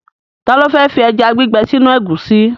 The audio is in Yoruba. Ta ló fẹ́ fi ẹja gbígbẹ sínú ẹ̀gúsí?